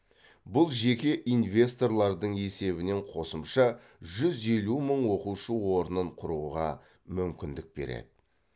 бұл жеке инвесторлардың есебінен қосымша жүз елу мың оқушы орнын құруға мүмкіндік береді